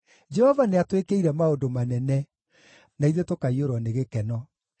Jehova nĩatwĩkĩire maũndũ manene, na ithuĩ tũkaiyũrwo nĩ gĩkeno.